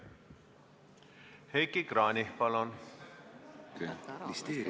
Heiki Kranich, palun!